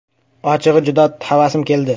Ochig‘i, juda havasim keldi.